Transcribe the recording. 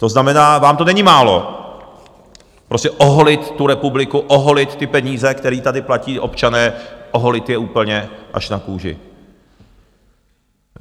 To znamená, vám to není málo, prostě oholit tu republiku, oholit ty peníze, které tady platí občané, oholit je úplně až na kůži.